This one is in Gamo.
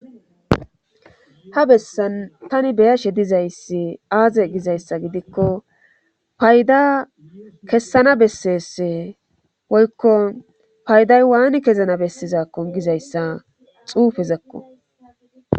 Ha bessan tani beyashe dizayssi aaze gidikko payda kessana bessese woykko payday waani kezana bessizakko gizayssa xuufezakko.